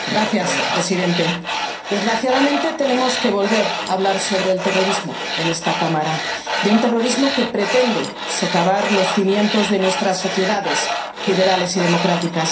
Señor presidente, desgraciadamente, tenemos que volver a hablar sobre el terrorismo en esta cámara, de un terrorismo que pretende socavar los cimientos de nuestras sociedades liberales y democráticas.